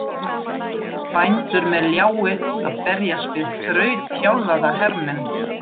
Bændur með ljái að berjast við þrautþjálfaða hermenn!